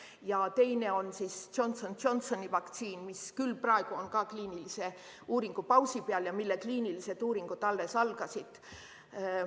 Ja teine on Johnson & Johnsoni vaktsiin, mis küll praegu on ka kliinilise uuringu pausi peal ja mille kliinilised uuringud alles algasid.